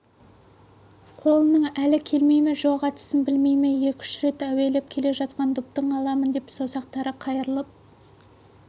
қолының әлі келмей ме жоқ әдісін білмей ме екі-үш рет әуелеп келе жатқан допты аламын деп саусақтары қайрылып